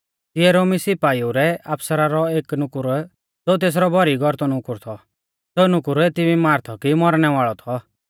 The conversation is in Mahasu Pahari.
तिऐ रोमी सिपाईउ रै आफसरा रौ एक नुकुर ज़ो तेसरौ भौरी गौरतौ नुकुर थौ सेऊ नुकुर एती बीमार थौ कि मौरणै वाल़ौ थौ